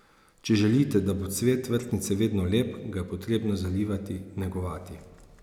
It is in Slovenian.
Če želite, da bo cvet vrtnice vedno lep, ga je potrebno zalivati, negovati.